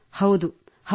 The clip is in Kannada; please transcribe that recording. ಹೌದು ಹೌದು